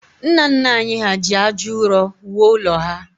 Nna nna anyị hà ji aja ụrọ wuo ụlọ ha